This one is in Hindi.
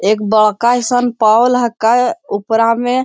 एक बड़का हईसन पोल ह का ओपेरा में।